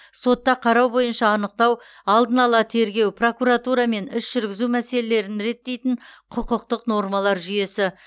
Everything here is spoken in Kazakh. сотта қарау бойынша анықтау алдын ала тергеу прокуратура мен іс жүргізу мәселелерін реттейтін құқықтық нормалар жүйесі